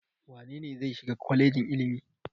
Wane ne zai shiga kwalejin ilimi?